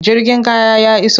Jirgin kaya ya iso.